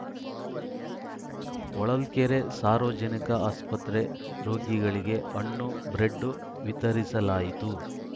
ಹೊಳಲ್ಕೆರೆ ಸಾರ್ವಜನಿಕ ಆಸ್ಪತ್ರೆ ರೋಗಿಗಳಿಗೆ ಹಣ್ಣು ಬ್ರೆಡ್‌ ವಿತರಿಸಲಾಯಿತು